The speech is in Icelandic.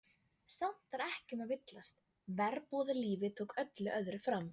Samt var ekki um að villast, verbúðalífið tók öllu öðru fram.